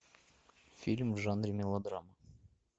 фильм в жанре мелодрама